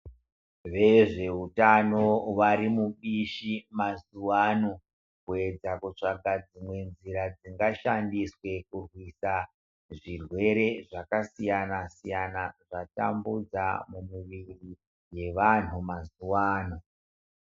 Vezveutano varimubishi mazuwa ano kuyedza kutsvaka dzimwe nzira dzingashandiswe kurwisa zvirwere zvakasiyana-siyana zvatambudza mumuviri yevantu mazuwa ano.